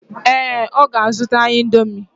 ee, ọ ga-azụta Indomi.